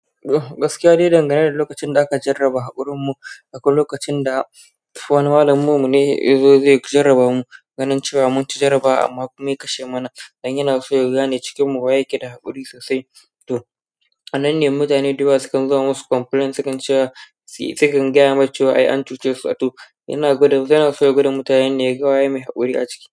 Gaskiya dai dangane da lokacin da aka jarraba haƙurinmu, akwai lokacin da wani malaminmu ne yazo zai jarrabamu, ganin cewa munci jarrabawa amma kuma ya kashe mana. Dan yanaso yagane cikinmu waye yake da haƙuri sosai. To ananne mutane duka sukan zama masu complaint, sukan cewa sukan gaya mai cewa "ai ancucesu" to yana gwadan, yanaso ya gwada mutanene yaga waye mai haƙuri aciki.